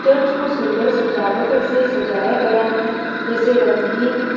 church को सुंदर सजावट से सजाया गया है जैसे रंगीन--